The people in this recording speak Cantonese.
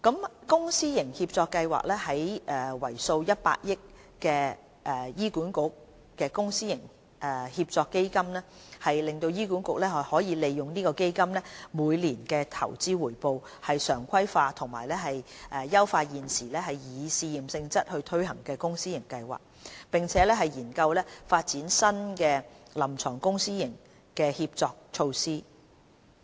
在公私營協作計劃方面，為數100億元的醫管局公私營協作基金讓醫管局利用基金每年的投資回報，常規化及優化現時以試驗性質推行的公私營協作計劃，並研究發展新的臨床公私營協作措施。